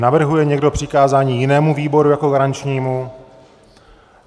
Navrhuje někdo přikázání jinému výboru jako garančnímu?